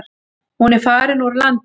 Hún er farin úr landi.